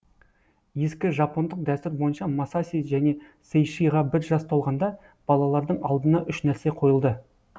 ескі жапондық дәстүр бойынша масаси және сейшиға бір жас толғанда балалардың алдына үш нәрсе қойылды